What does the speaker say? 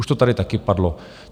Už to tady taky padlo.